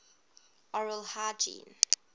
oral hygiene